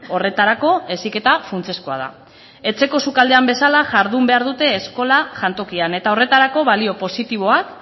horretarako heziketa funtsezkoa da etxeko sukaldean bezala jardun behar dute eskola jantokian eta horretarako balio positiboak